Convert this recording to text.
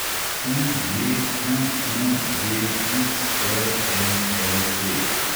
UJQUVXRMLT